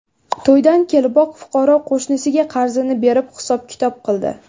To‘ydan keliboq fuqaro qo‘shnisiga qarzini berib, hisob-kitob qildi.